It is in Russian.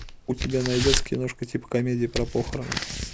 у тебя найдется киношка типа комедии про похороны